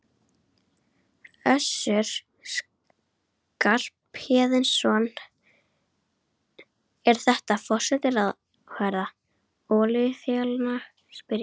Össur Skarphéðinsson: Er þetta forsætisráðherra olíufélaganna, ég spyr?